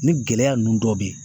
Ni gɛlɛya nunnu dɔ be yen